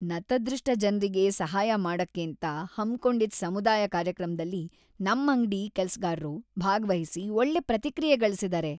ನತದೃಷ್ಟ ಜನ್ರಿಗೆ ಸಹಾಯ ಮಾಡಕ್ಕೇಂತ ಹಮ್ಮ್‌ಕೊಂಡಿದ್ ಸಮುದಾಯ ಕಾರ್ಯಕ್ರಮ್ದಲ್ಲಿ ನ‌ಮ್ ಅಂಗ್ಡಿ ಕೆಲ್ಸ್‌ಗಾರ್ರು ಭಾಗ್ವಹಿಸಿ ಒಳ್ಳೆ ಪ್ರತಿಕ್ರಿಯೆ ಗಳ್ಸಿದಾರೆ.